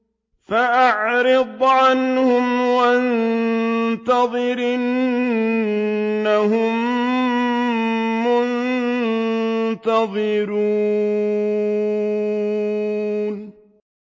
فَأَعْرِضْ عَنْهُمْ وَانتَظِرْ إِنَّهُم مُّنتَظِرُونَ